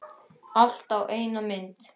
Allt á einni mynd.